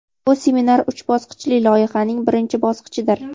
Bu seminar uch bosqichli loyihaning birinchi bosqichidir.